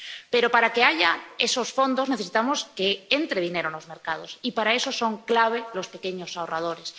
Pero, para que haya esos fondos, necesitamos que entre dinero en los mercados, y para eso son clave los pequeños ahorradores.